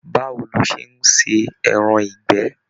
Báwo ló ṣe n ṣe ẹran ìgbẹ́?